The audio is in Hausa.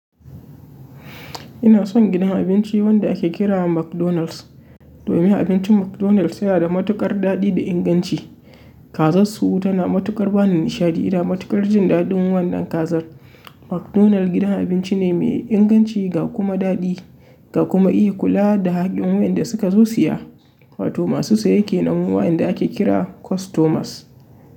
Ina son gidan abinci wanda ake kira McDonald's, domin abincin McDonald's yana da matukar daɗi da inganci. Kazarsu tana matukar bani nishaɗi, ina matukar jin daɗin wannan kazar. McDonald's gidan abinci ne mai inganci ga kuma daɗi, ga kuma iya kula da haƙƙin wayanda suka zo siya, wato masu saye kenan wayanda ake kira customers.